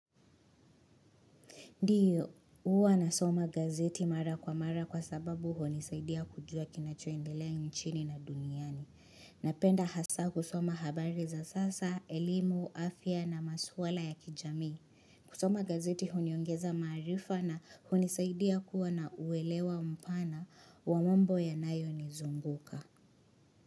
Ndiyo huwa nasoma gazeti mara kwa mara kwasababu hunisaidia kujua kinachoendelea nchini na duniani. Napenda hasa kusoma habari za sasa, elimu, afya na maswala ya kijamii. Kusoma gazeti huniongeza marifa na hunisaidia kuwa na uelewa mpana wa mambo yanayonizunguka.